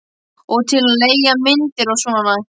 Og til að leigja myndir og svona.